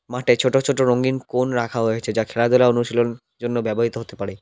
মাটে ছোট ছোট রঙিন কোন রাখা হয়েচে যা খেলাধুলা অনুশীলন জন্য ব্যবহৃত হতে পারে।